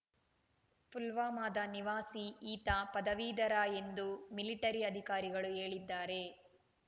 ಪುಲ್ವಾಮಾದ ನಿವಾಸಿ ಈತ ಪದವೀಧರ ಎಂದು ಮಿಲಿಟರಿ ಅಧಿಕಾರಿಗಳು ಹೇಳಿದ್ದಾರೆ